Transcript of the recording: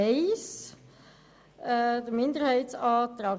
Kommissionssprecherin der FiKo-Minderheit.